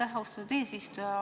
Aitäh, austatud eesistuja!